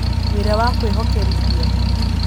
Wĩra wa Kwĩhokerithia: